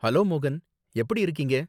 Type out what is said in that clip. Hello மோகன், எப்படி இருக்கீங்க?